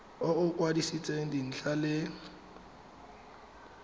o o kwadisitsweng dintlha le